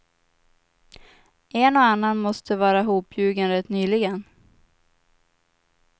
En och annan måste vara hopljugen rätt nyligen.